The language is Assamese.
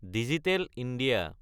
digital India